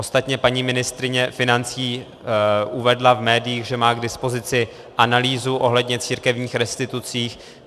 Ostatně paní ministryně financí uvedla v médiích, že má k dispozici analýzu ohledně církevních restitucí.